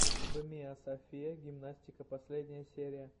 бмиасофия гимнастика последняя серия